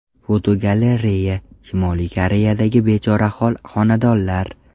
Fotogalereya: Shimoliy Koreyadagi bechorahol xonadonlar.